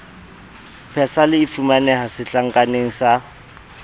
persal e fumaneha setlankaneng sa